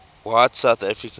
white south africans